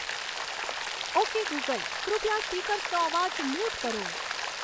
okay Google કૃપયા સ્પીકર્સનો અવાજ મ્યુટ કરો